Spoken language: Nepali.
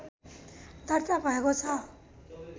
दर्ता भएको छ